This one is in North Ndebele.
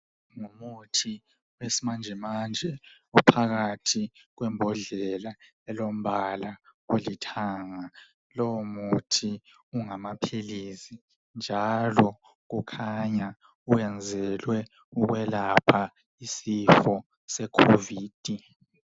Ngumuthi wesimanjemanje ophakathi kwembodlela elombala olithanga lowu muthi ungamaphilisi njalo kukhanya uyenzelwe ukwelapha isifo se COVID.